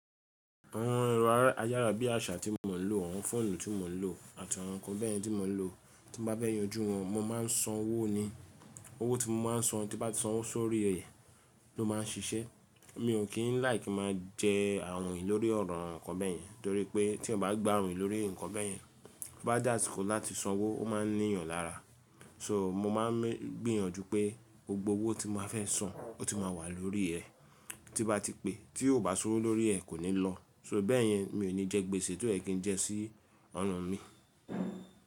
Àwọn ẹ́rọ ayára bí àṣá tí mò ń lò, àwọn fóònù tí mò ń lò àti àwọn ǹkan bẹ́ẹ̀ni tí mò ń lò, tí bá bẹ́ẹ̀ yanjú wọn mo máa ń san owó ni. Owó tí mo máa ń san, tí bá ti san owó sórí rẹ̀ ló máa ń ṣiṣẹ́. Mi ò kí ń like máa jẹ àrùn ìlórí ọ̀rọ̀ àwọn ǹkan bẹ́ẹ̀ yẹn, torí pé tí ọ bá gba àrùn ìlórí ǹkan bẹ́ẹ̀ yẹn, bá dà síkò láti san owó, ó máa níyan lára. So mo máa ń gbìyànjú pé gbogbo owó tí mo fẹ́ san, ó ti máa wà lórí ẹ. Tí bá ti pé tí ó ò bá ṣorí lórí ẹ kò ní lọ. So bẹ́ẹ̀ yẹn mi ò ní jẹ gbèsè tó è kí n jẹ sí ọrùn mi.